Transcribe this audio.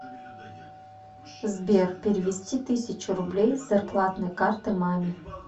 сбер перевести тысячу рублей с зарплатной карты маме